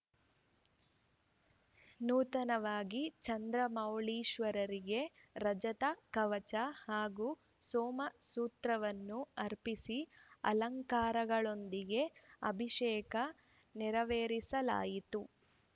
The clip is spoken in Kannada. ನೂತನವಾಗಿ ಚಂದ್ರಮೌಳೀಶ್ವರರಿಗೆ ರಜತ ಕವಚ ಹಾಗೂ ಸೋಮಸೂತ್ರವನ್ನು ಅರ್ಪಿಸಿ ಅಲಂಕಾರಗಳೊಂದಿಗೆ ಅಭಿಷೇಕ ನೆರವೇರಿಸಲಾಯಿತು